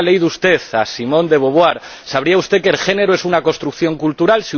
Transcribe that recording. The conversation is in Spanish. Si hubiera leído usted a Simone de Beauvoir, sabría usted que el género es una construcción cultural